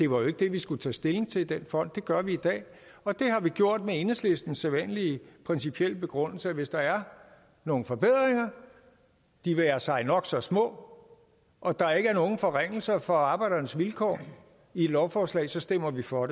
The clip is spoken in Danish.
var det vi skulle tage stilling til i den fond det gør vi i dag og det har vi gjort med enhedslistens sædvanlige principielle begrundelse at hvis der er nogle forbedringer de være sig nok så små og der ikke er nogen forringelser for arbejdernes vilkår i et lovforslag så stemmer vi for